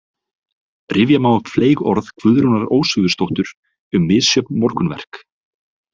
Rifja má upp fleyg orð Guðrúnar Ósvífursdóttur um misjöfn morgunverk.